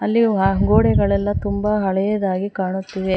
ಇಲ್ಲಿ ವ ಗೋಡೆಗಳೆಲ್ಲ ತುಂಬಾ ಹಳೆಯದಾಗಿ ಕಾಣುತ್ತಿವೆ.